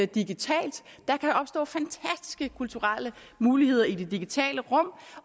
digitalt der kan opstå fantastiske kulturelle muligheder i det digitale rum